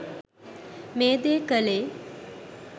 මේ දේ කළේ.